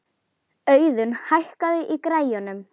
Auðun, hækkaðu í græjunum.